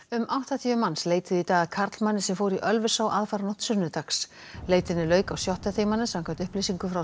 um áttatíu manns leituðu í dag að karlmanni sem fór í Ölfusá aðfaranótt sunnudags leitinni lauk á sjötta tímanum samkvæmt upplýsingum frá